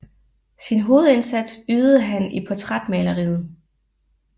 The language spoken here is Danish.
Sin hovedindsats ydede han i portrætmaleriet